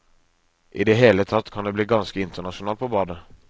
I det hele tatt kan det bli ganske internasjonalt på badet.